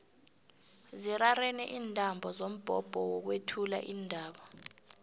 zirarene iintambo zombhobho wokwethula iindaba